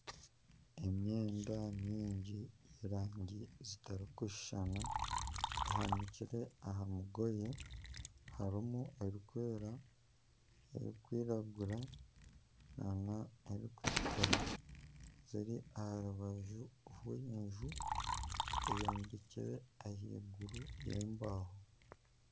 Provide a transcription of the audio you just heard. Emyenda mingi y'erangi zitarikushushana ehanikire aha mugoye, harimu ebirikwera ebikwiragura n'ebirikutukura ziri aha rubaju rw'enju rwombekirwe ahaiguru y'embaaho.